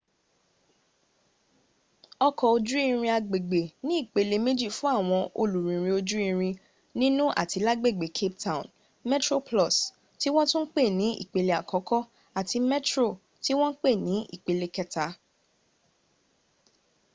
ọkọ̀ ojú irin agbègbè ní ìpele méjì fún àwọn olùrìnrìn ojú irin nínú àti lágbègbè cape town: metroplus ti wọ́n tún ń pè ní ìpele àkọ́kọ́ àti metro tí wọ́n pè ní ìpele kẹta